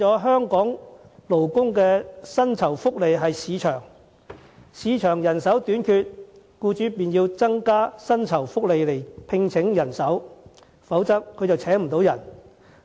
香港勞工的薪酬福利，真正取決於市場供求；市場人手短缺，僱主自然要增加薪酬福利，否則便無法招聘人手。